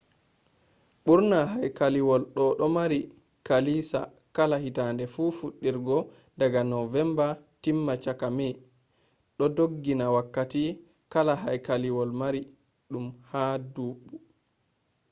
burna haykaliwol doo mari kilisa kala hittade fu fudirgo daga november timma chakka may do donginni wakkati kala haykaliwol marii dum ha duumbu mai